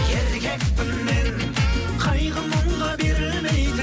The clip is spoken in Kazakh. еркекпін мен қайғы мұңға берілмейтін